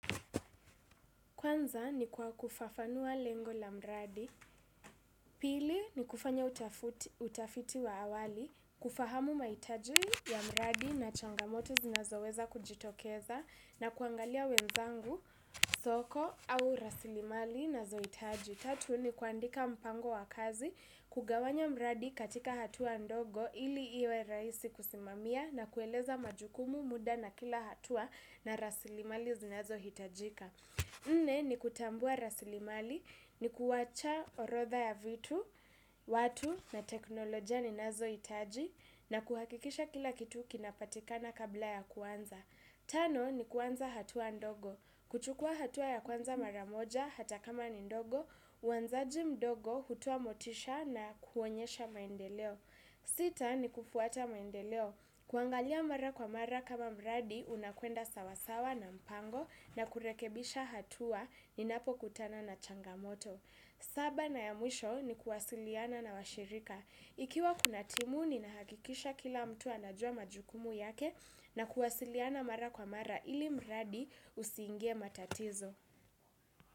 Kwanza ni kwa kufafanua lengo la mradi. Pili ni kufanya utafiti wa awali. Kufahamu mahitaji ya mradi na changamoto zinazoweza kujitokeza na kuangalia wenzangu, soko au rasilimali nazohitaji. Tatu ni kuandika mpango wa kazi. Kugawanya mradi katika hatua ndogo ili iwe rahisi kusimamia na kueleza majukumu muda na kila hatua na rasilimali zinazohitajika nne ni kutambua rasilimali, ni kuwacha orodha ya vitu, watu na teknolojia ninazohitaji na kuhakikisha kila kitu kinapatikana kabla ya kuanza. Tano ni kuanza hatua ndogo, kuchukua hatua ya kuanza mara moja hata kama ni ndogo, uanzaji mdogo hutoa motisha na kuonyesha maendeleo. Sita ni kufuata maendeleo. Kuangalia mara kwa mara kama mradi unakwenda sawasawa na mpango na kurekebisha hatua ninapokutana na changamoto. Saba na ya mwisho ni kuwasiliana na washirika. Ikiwa kuna timu ninahakikisha kila mtu anajua majukumu yake na kuwasiliana mara kwa mara ili mradi usiingie matatizo.